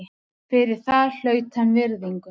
Fyrir það hlaut hann virðingu.